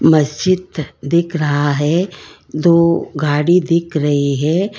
मस्जिद दिख रहा है दो गाड़ी दिख रही है।